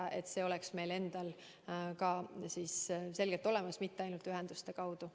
Et see kindlus oleks meil endal ka selgelt olemas, mitte ainult ühenduste kaudu.